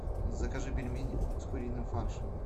закажи пельмени с куриным фаршем